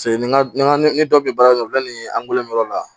n ka n ka ni dɔ bɛ baara kɛ u bɛ nin angulon dɔ la